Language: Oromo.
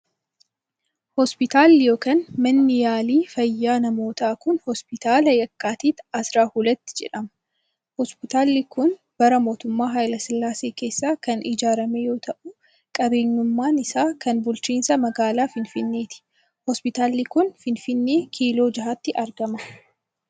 Hospitaalli yokin manni yaalii fayyaa namootaa kun, Hospitaala Yakkaatit Asraa Hulat jedhama. Hospitaalli kun bara mootummaa Hayilasillaasee keessa kan ijaarame yoo ta'u, qabeenyummaan isaa kan bulchiinsa magaalaa Finfinneeti. Hospitaalli kun finfinnee kiiloo ja'atti argama.